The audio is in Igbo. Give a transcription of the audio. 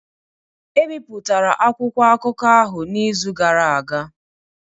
E bipụtara akwụkwọ akụkọ ahụ n’izu gara aga